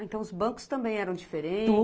Então, os bancos também eram diferentes?